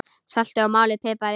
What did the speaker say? Saltið og malið pipar yfir.